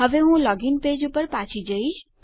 હવે હું login page પર પાછો જઈશ